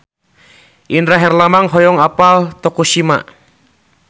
Indra Herlambang hoyong apal Tokushima